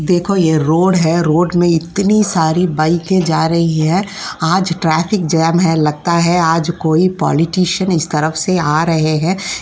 यह रोड है। रोड में इतनी सारी बाइक पर जा रही हैं। आज ट्रैफिक जाम है लगता है आज कोई पॉलिटिशियन इस तरफ से आ रहें हैं।